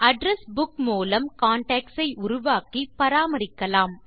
address book மூலம் contacts ஐ உருவாக்கி பராமரிக்கலாம்